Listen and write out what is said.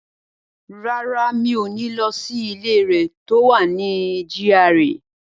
Rárá, mi ò ní lọ sí ilé rẹ̀ tó wà ní GRA.